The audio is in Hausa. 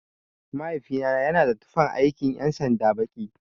Mahaifina yana da tufan aikin ƴan sanda baki.